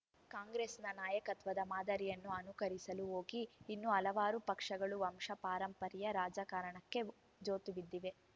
ಕಾಂಗ್ರೆಸ್‌ನ ನಾಯಕತ್ವದ ಮಾದರಿಯನ್ನು ಅನುಕರಿಸಲು ಹೋಗಿ ಇನ್ನೂ ಹಲವಾರು ಪಕ್ಷಗಳು ವಂಶಪಾರಂಪರ್ಯ ರಾಜಕಾರಣಕ್ಕೆ ಜೋತುಬಿದ್ದಿವೆ